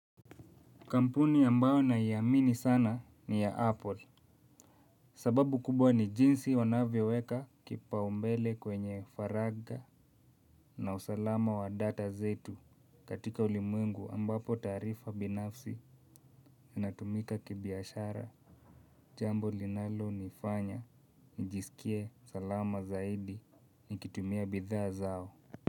Kampuni ambayo naiamini sana ni ya Apple. Sababu kubwa ni jinsi wanavyoweka kipaombele kwenye faraga na usalama wa data zetu. Katika ulimwengu ambapo taarifa binafsi inatumika kibiashara jambo linalonifanya nijisikie salama zaidi nikitumia bidhaa zao. Kwa hivyo.